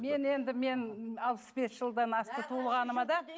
мен енді мен алпыс бес жылдан асты туылғаныма да